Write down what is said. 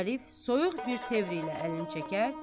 Arif soyuq bir tevri ilə əlini çəkər.